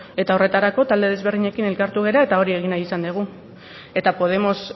eta horretarako talde desberdinekin elkartu gara eta hori egin nahi izan dugu eta podemos